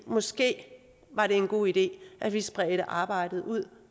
måske var det en god idé at vi spredte arbejdet ud